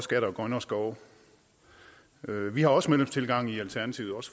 skatter og grønnere skove vi har også medlemstilgang i alternativet